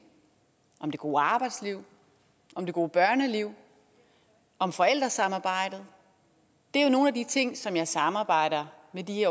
om det gode arbejdsliv om det gode børneliv om forældresamarbejdet det er jo nogle af de ting som jeg samarbejder med de